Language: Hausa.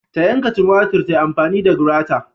Ta yanka tumatir ta amfani da grata